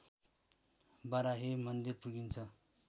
बाराही मन्दिर पुगिन्छ